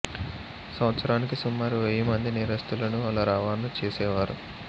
సంవత్సరానికి సుమారు వెయ్యి మంది నేరస్థులను అలా రవాణా చేసేవారు